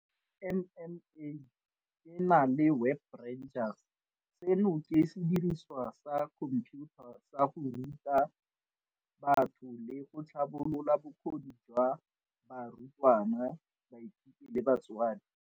MMA e na le Web Rangers, seno ke sediriswa sa khomphiutha sa go ruta batho le go tlhabolola bokgoni jwa barutwana, baithuti le batsadi.